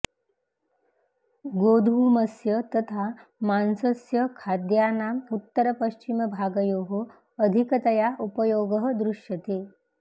गोधूमस्य तथा मांसस्य खाद्यानाम् उत्तरपश्चिमभागयोः अधिकतया उपयोगः दृश्यते